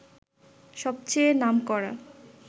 সবচেয়ে নামকরা